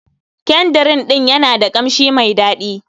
Kyandrin ɗin yana da kamshi mai dadi.